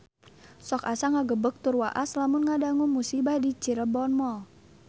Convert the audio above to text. Sok asa ngagebeg tur waas lamun ngadangu musibah di Cirebon Mall